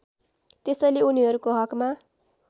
त्यसैले उनीहरुको हकमा